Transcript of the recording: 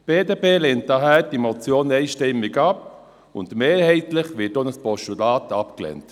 Die BDP lehnt diese Motion daher einstimmig ab, und mehrheitlich wird auch ein Postulat abgelehnt.